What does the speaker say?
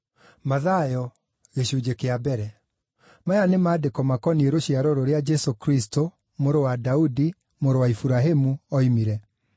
Maya nĩ maandĩko makoniĩ rũciaro rũrĩa Jesũ Kristũ, mũrũ wa Daudi, mũrũ wa Iburahĩmu oimire: